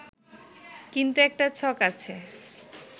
কিন্তু একটা ছক আছে